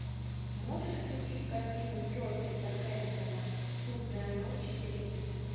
можешь включить картину кертиса хэнсона судная ночь три